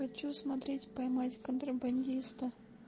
хочу смотреть поймать контрабандиста